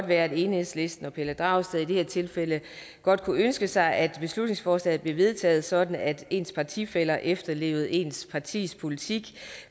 være at enhedslisten og herre pelle dragsted i det her tilfælde godt kunne ønske sig at beslutningsforslaget blev vedtaget sådan at ens partifæller efterlevede ens partis politik